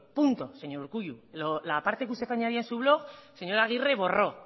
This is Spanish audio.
punto señor urkullu la parte que usted añadía en su blog el señor aguirre borró